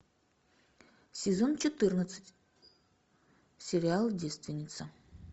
сезон четырнадцать сериал девственница